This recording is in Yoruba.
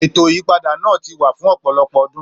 Ètò ìyípadà náà ti wà fún ọ̀pọ̀lọpọ̀ ọdún,